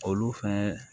Olu fɛn